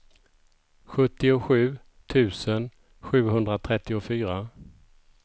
sjuttiosju tusen sjuhundratrettiofyra